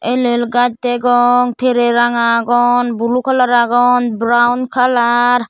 el el gaj degong trey ranga agon blue kalar agon brown kalar .